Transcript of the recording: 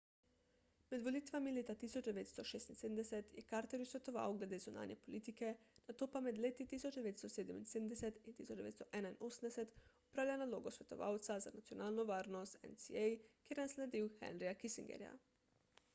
med volitvami leta 1976 je carterju svetoval glede zunanje politike nato pa med leti 1977 in 1981 opravljal nalogo svetovalca za nacionalno varnost nsa kjer je nasledil henryja kissingerja